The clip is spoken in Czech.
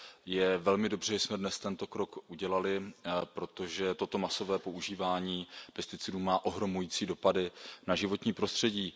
Je velmi dobře, že jsme dnes tento krok udělali, protože toto masové používání pesticidů má ohromující dopady na životní prostředí.